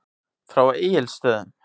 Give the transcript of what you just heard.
Frá Egilsstöðum.